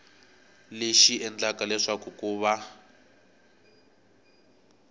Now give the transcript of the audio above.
lexi endlaka leswaku ku va